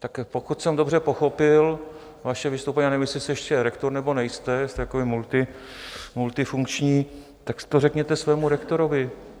Tak pokud jsem dobře pochopil vaše vystoupení, já nevím, jestli jste ještě rektor, nebo nejste, jste takový multifunkční, tak to řekněte svému rektorovi.